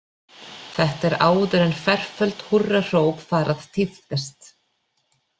Þetta er áður en ferföld húrrahróp fara að tíðkast.